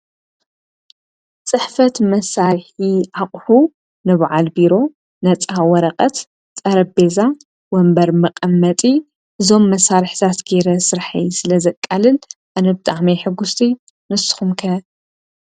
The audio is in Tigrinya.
ጽሕፈት መሣርሕ ኣቝሑ ነብዓል ቢሮ ነፃ ወረቐት ጠረቤዛ ወንበር መቐመጢ ዞም መሣርሕታት ገይረ ሥርሐይ ስለ ዘቃልል ኣነብጥዓመይ ሕጉሥቲ ንስኹምከ?